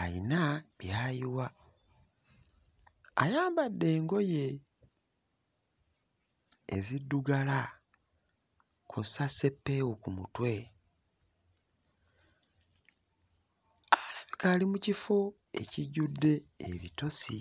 ayina by'ayiwa. Ayambadde engoye eziddugala kw'ossa sseppeewo ku mutwe, alabika ali mu kifo ekijjudde ebitosi.